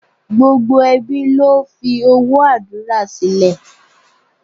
Gbogbo ẹbí ló fi owó àdúrà sílẹ̀.